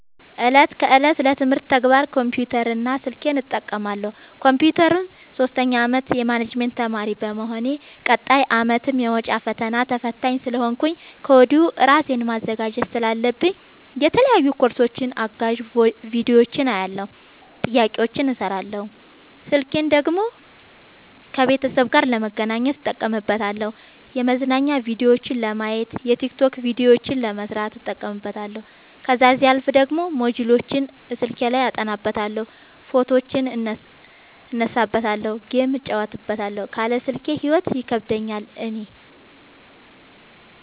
እለት ከእለት ለትምህርት ተግባር ኮምፒውተር እና ስልኬን እጠቀማለሁ። ኮንፒውተሩን ሶስተኛ አመት የማኔጅመት ተማሪ በመሆኔ ቀጣይ አመትም የመውጫ ፈተና ተፈታኝ ስለሆንኩኝ ከወዲሁ እራሴን ማዘጋጀት ስላለብኝ የተለያዩ ኮርሶችን አጋዝ ቢዲዮዎችን አያለሁ። ጥያቄዎችን እሰራለሁ። ስልኬን ደግሞ ከቤተሰብ ጋር ለመገናኘት እጠቀምበታለሁ የመዝናኛ ቭዲዮዎችን ለማየት። የቲክቶክ ቪዲዮዎችን ለመስራት እጠቀምበታለሁ። ከዛሲያልፍ ደግሞ ሞጅልዎችን አስልኬ አጠናበታለሁ። ፎቶዎችን እነሳበታለሀለ። ጌም እጫወትበታለሁ ካለ ስልኬ ሂይወት ይከብደኛል እኔ።